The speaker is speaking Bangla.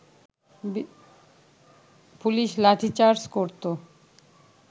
পুলিশ লাঠিচার্জ করত